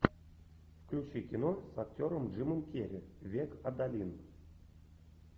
включи кино с актером джимом керри век адалин